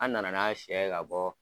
An na na n'a sɛ ye ka bɔ